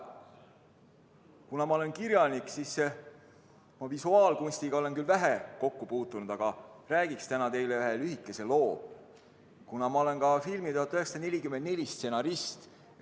Kuna ma olen kirjanik, siis ma visuaalkunstiga olen küll vähe kokku puutunud, aga räägiksin täna teile ühe lühikese loo, kuna ma olen ka filmi "1944" stsenarist.